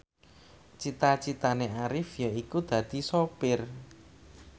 cita citane Arif yaiku dadi sopir